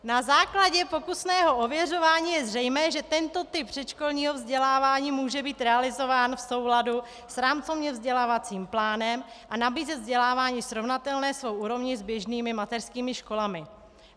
Na základě pokusného ověřování je zřejmé, že tento typ předškolního vzdělávání může být realizován v souladu s rámcovým vzdělávacím plánem a nabízet vzdělávání srovnatelné svou úrovní s běžnými mateřskými školami.